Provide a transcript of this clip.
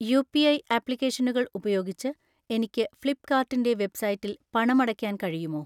UPI ആപ്ലിക്കേഷനുകൾ ഉപയോഗിച്ച് എനിക്ക് ഫ്ലിപ്‌കാർട്ടിൻ്റെ വെബ്സൈറ്റിൽ പണമടയ്ക്കാൻ കഴിയുമോ?